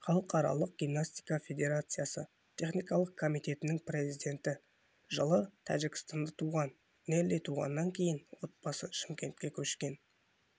халықаралық гимнастика федерациясы техникалық комитетінің президенті жылы тәжікстанда туған нелли туғаннан кейін отбасы шымкентке көшкен